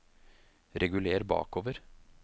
reguler bakover